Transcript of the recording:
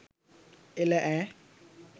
එළ ඈ